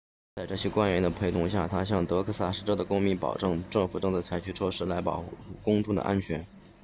在这些官员的陪同下他向德克萨斯州的公民保证政府正在采取措施来保护公众的安全